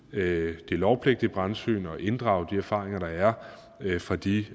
det lovpligtige brandsyn og inddrage de erfaringer der er fra de